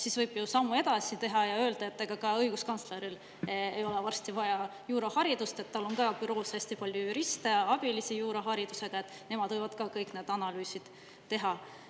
Siis võib ju sammu edasi teha ja öelda, et ka õiguskantsleril ei ole varsti vaja juuraharidust, kuna tal on büroos hästi palju juriste, juuraharidusega abilisi ja nemad võivad kõiki neid analüüse teha.